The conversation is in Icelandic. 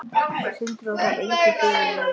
Sindri: Og það var enginn fyrirvari?